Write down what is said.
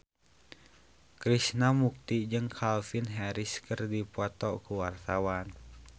Krishna Mukti jeung Calvin Harris keur dipoto ku wartawan